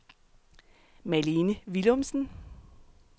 Malene Willumsen